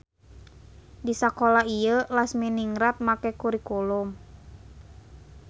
Di sakola ieu Lasminingrat make kurikulum.